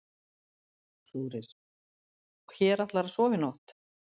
Þórir: Og hér ætlarðu að sofa í nótt?